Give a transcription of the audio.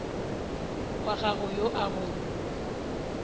wa gago yo a go